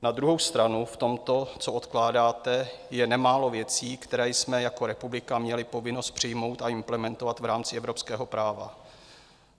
Na druhou stranu v tomto, co odkládáte, je nemálo věcí, které jsme jako republika měli povinnost přijmout a implementovat v rámci evropského práva.